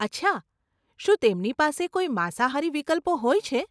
અચ્છા, શું તેમની પાસે કોઈ માંસાહારી વિકલ્પો હોય છે?